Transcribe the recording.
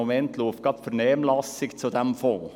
Im Moment läuft gerade die Vernehmlassung zu diesem Fonds.